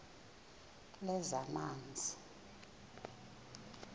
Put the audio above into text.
lezamanzi